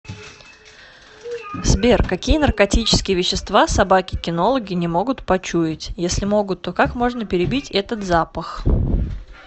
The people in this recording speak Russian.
сбер какие наркотические вещества собаки кинологи не могут почуять если могут то как можно перебить этот запах